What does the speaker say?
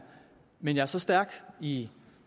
men jeg er så stærk i